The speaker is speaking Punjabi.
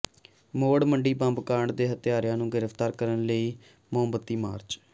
ਮੌੜ ਮੰਡੀ ਬੰਬ ਕਾਂਡ ਦੇ ਹੱਤਿਆਰਿਆਂ ਨੂੰ ਗਿ੍ਫਤਾਰ ਕਰਨ ਲਈ ਮੋਮਬੱਤੀ ਮਾਰਚ